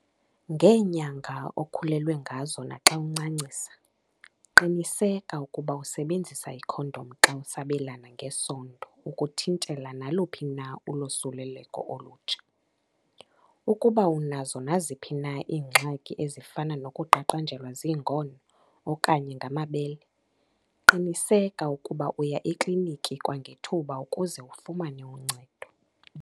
Ngeenyanga okhulelwe ngazo, naxa uncancisa, qiniseka ukuba usebenzisa ikhondom xa usabelana ngesondo ukuthintela naluphi na ulosuleleko olutsha. Ukuba unazo naziphi na iingxaki ezifana nokuqaqanjelwa ziingono okanye ngamabele, qiniseka ukuba uya ekliniki kwangethuba ukuze ufumane uncedo.